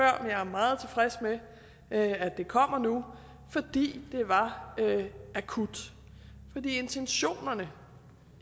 jeg er meget tilfreds med at det kommer nu fordi det var akut fordi intentionerne